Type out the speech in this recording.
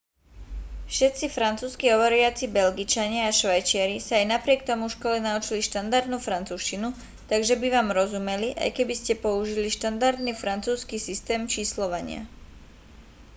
všetci francúzski hovoriaci belgičania a švajčiari sa aj napriek tomu v škole naučili štandardnú francúzštinu takže by vám rozumeli aj keby ste použili štandardný francúzsky systém číslovania